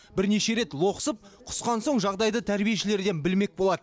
бірнеше рет лоқсып құсқан соң жағдайды тәрбиешілерден білмек болады